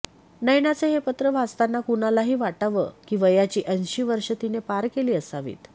नयनाचं हे पत्र वाचताना कुणालाही वाटावं की वयाची ऐंशी वर्षे तिनं पार केली असावीत